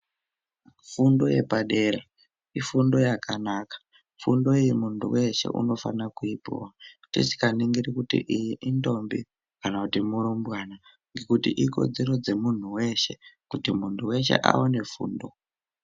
Fundo yepadera, ifundo yakanaka, fundo iyoo muntu weeshe unofanira kuipuwa tisinganingiri kuti iyi intombi kana kuti murumbwana ngekuti ikodzero dzemuntu weshee kuti muntu weshe awane fundo.